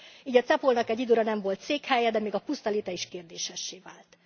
Így a CEPOL nak egy időre nem volt székhelye, de még a puszta léte is kérdésessé vált.